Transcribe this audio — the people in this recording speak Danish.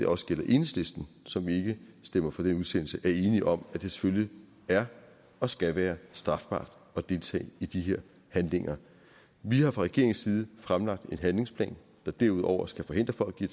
også det gælder enhedslisten som ikke stemmer for den udsendelse er enige om at det selvfølgelig er og skal være strafbart at deltage i de her handlinger vi har fra regeringens side fremlagt en handlingsplan der derudover skal forhindre folk i